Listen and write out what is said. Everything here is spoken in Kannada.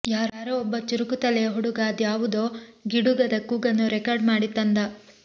ಯಾರೋ ಒಬ್ಬ ಚುರುಕು ತಲೆಯ ಹುಡುಗ ಅದ್ಯಾವುದೋ ಗಿಡುಗದ ಕೂಗನ್ನು ರೆಕಾರ್ಡ್ ಮಾಡಿ ತಂದ